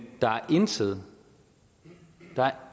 der er intet